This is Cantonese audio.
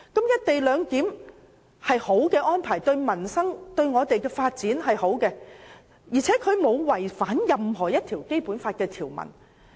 "一地兩檢"是一項好的安排，對我們的民生和發展均有裨益，而且它亦沒有違反《基本法》任何條文。